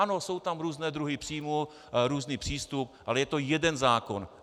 Ano, jsou tam různé druhy příjmů, různý přístup, ale je to jeden zákon.